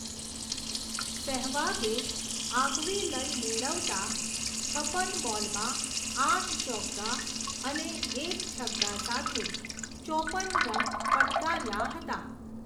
સેહવાગે આગવી લય મેળવતા, છપન બોલમાં આઠ ચોગ્ગા અને એક છગ્ગા સાથે ચોપન રન ફટકાર્યા હતા.